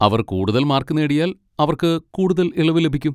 അവർ കൂടുതൽ മാർക്ക് നേടിയാൽ, അവർക്ക് കൂടുതൽ ഇളവ് ലഭിക്കും.